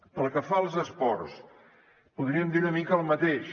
pel que fa als esports podríem dir una mica el mateix